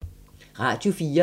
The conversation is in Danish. Radio 4